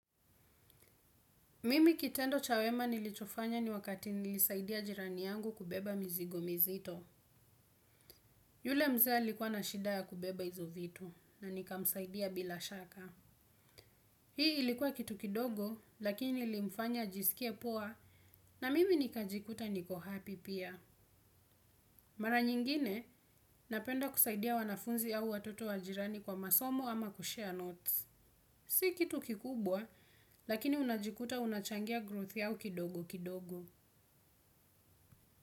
Mimi kitendo cha wema nilichofanya ni wakati nilisaidia jirani yangu kubeba mizigo mizito. Yule mzee alikuwa na shida ya kubeba hizo vitu na nikamsaidia bila shaka. Hii ilikuwa kitu kidogo lakini nilimfanya ajisikie poa na mimi nikajikuta niko happy pia. Mara nyingine napenda kusaidia wanafunzi au watoto wa jirani kwa masomo ama kushare notes. Si kitu kikubwa lakini unajikuta unachangia growth yao kidogo kidogo.